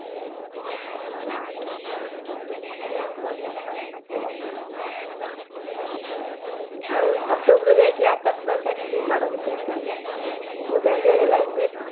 ଆଉ ଛାତ ଉପରେ ଯାଇକି ଆକାଶ ଛତା ଛାଡିଲୁ ବାଣ ଫୁଟେଇଲୁ ବହୁତ enjoy ହେଲା କିନ୍ତୁ ଏଠି